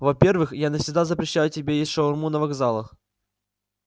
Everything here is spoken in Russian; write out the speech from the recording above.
во-первых я навсегда запрещаю тебе есть шаурму на вокзалах